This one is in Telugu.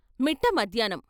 మిట్ట మధ్యాహ్నం..